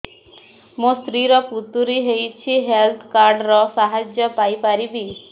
ମୋ ସ୍ତ୍ରୀ ର ପଥୁରୀ ହେଇଚି ହେଲ୍ଥ କାର୍ଡ ର ସାହାଯ୍ୟ ପାଇପାରିବି